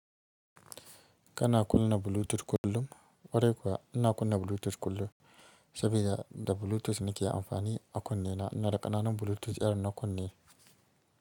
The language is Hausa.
Kana kunna Bluetooth kullum? Ƙwarai kuwa ina kunna Bluetooth kullum saboda da Bluetooth nake amfani a kunne na, ina da ƙananan Bluetooth irin na kunne.